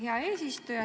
Hea eesistuja!